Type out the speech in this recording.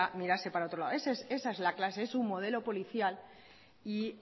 mirase para otro lado esa es la clase es su modelo policial y